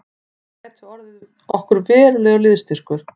Hann gæti orðið okkur verulegur liðsstyrkur